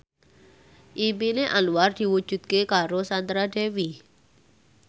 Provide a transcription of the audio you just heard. impine Anwar diwujudke karo Sandra Dewi